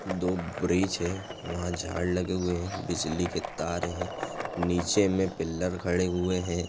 दो ब्रीज़ है वहा झाड़ लगे हुए है बिजली के तार है नीचे मे पिल्लर खड़े हुए है।